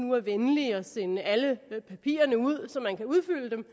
nu er venlige og sender alle papirerne ud så man kan udfylde dem